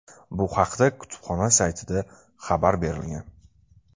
Bu haqda kutubxona saytida xabar berilgan .